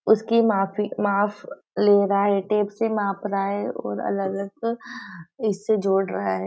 उसकी माफ़ी माफ़ ले रहा है टेप्स से माप रहा है और अलग अलग इससे जोड़ रहा है।